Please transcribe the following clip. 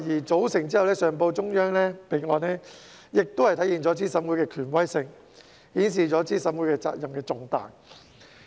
組成後上報中央備案，亦體現了資審會的權威性，顯示資審會責任之重大。